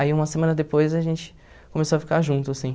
Aí uma semana depois a gente começou a ficar junto, assim.